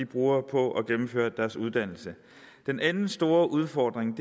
bruger på at gennemføre deres uddannelse den anden store udfordring